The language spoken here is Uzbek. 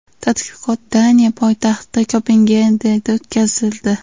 Tadqiqot Daniya poytaxti Kopengagenda o‘tkazildi.